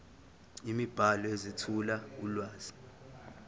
imibhalo ezethula ulwazi